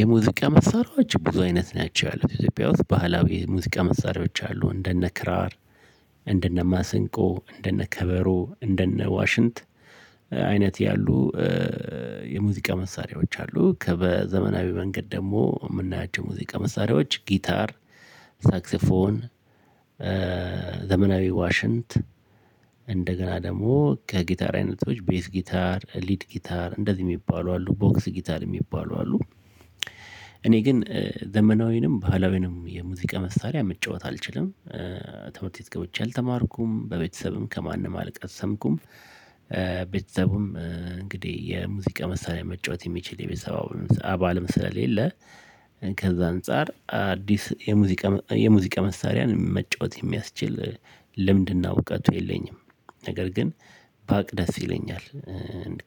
የሙዚቃ መሳሪያዎች ብዙ አይነት ናቸው ያለው ኢትዮጵያ ውስጥ ባህላዊ ሙዚቃ መሳሪያዎች አሉ እንደነ ክራር እንደነ ማሰንቆ እንደነ ከበሮ እንደነ ዋሽንት አይነት ያሉ። የሙዚቃ መሳሪያዎች አሉ ከበዘመናዊ መንገድ ደግሞ የምናያቸው ሙዚቃ መሳሪያዎች ጊታር ሳክሲፎን። ዘመናዊ ዋሽንት እንደገና ደግሞ ከጊታር አይነቶች ቤስት ጊታር ሊድ ጊታር እንደዚህ የሚባሉ አሉ ቦክስ ጊታር የሚባሉ አሉ። እኔ ግን ዘመናዊንም ባህላዊንም የሙዚቃ መሳሪያ መጫወት አልችልም። ትምህርት ቤት ገብቼ አልተማርኩም በቤተሰብም ከማንም አልቀሰምኩም። ቤተሰብም እንግዲህ የሙዚቃ መሳሪያ መጫወት የሚችል የቤተሰባው አባልም ስለሌለ። ከዛ አንፃር አዲስ የሙዚቃ የሙዚቃ መሳሪያን መጫወት የሚያስችል ልምድና እውቀቱ የለኝም። ነገር ግን ባቅ ደስ ይለኛል።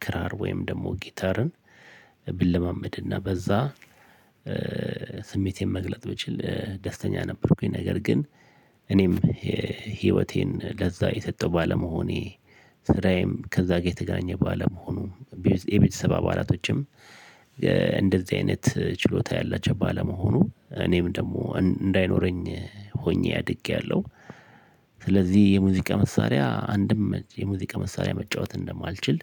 ክራር ወይም ደግሞ ጊታርን ብለማመድና በዛ ስሜቴን መግለጥ ብችል ደስተኛ ነበርኩኝ። ነገር ግን እኔም ህይወቴን ለዛ የሰጠው ባለመሆኔ ስራዬም ከዛ ጋር የተገናኘ ባለመሆኑ የቤተሰብ አባላቶችም እንደዚህ አይነት ችሎታ ያላቸው ባለመሆኑ እኔም ደግሞ እንዳይኖረኝ ሆኜ አድጌያለሁ። ስለዚህ የሙዚቃ መሳሪያ አንድም የሙዚቃ መሳሪያ መጫወት እንደማልችል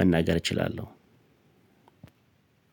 መናገር እችላለሁ።